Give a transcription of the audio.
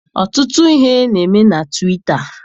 Ọtụtụ ihe na-eme na Twita.